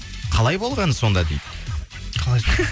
қалай болғаны сонда дейді қалай